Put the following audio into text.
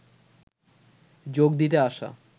যোগ দিতে আসা